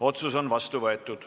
Otsus on vastu võetud.